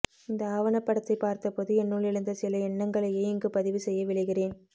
இந்த ஆவணப்படத்தை பார்த்தபோது என்னுள் எழுந்த சில எண்ணங்களையே இங்கு பதிவு செய்ய விழைகிறேன்